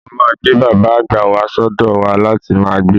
Mo máa gbé bàbà àgbà wà sọ́dọ̀ wa láti máa gbé.